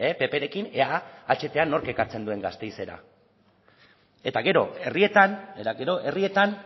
pprekin ea ahta nork ekartzen duen gasteizera eta gero herrietan eta gero herrietan